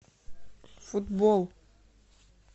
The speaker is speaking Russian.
футбол